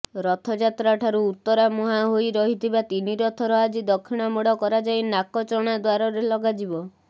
ରଥଯାତ୍ରାଠାରୁ ଉତ୍ତରାମୁହାଁ ହୋଇ ରହିଥିବା ତିନି ରଥର ଆଜି ଦକ୍ଷିଣମୋଡ଼ କରାଯାଇ ନାକଚଣା ଦ୍ୱାରରେ ଲଗାଯିବ